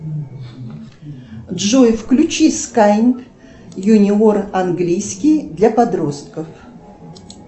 джой включи скайн юниор английский для подростков